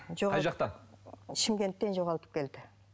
қай жақтан шымкенттен жоғалтып келді